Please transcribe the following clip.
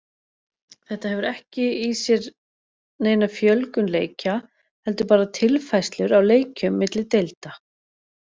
Þetta hefur ekki í sér neina fjölgun leikja heldur bara tilfærslur á leikjum milli deilda.